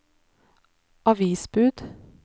avisbud